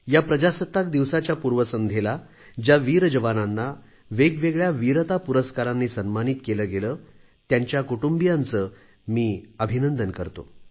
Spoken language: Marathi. या प्रजासत्ताक दिवसाच्या पूर्वसंध्येला ज्या वीर जवानांना वेगवेगळ्या वीरता पुरस्कारांनी सन्मानित केले गेले त्यांच्या कुटुंबियांचे मी अभिनंदन करतो